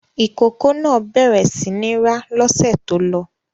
Ìkókó náà bẹ̀rẹ̀ sí ní rá lọ́sẹ̀ tó lọ.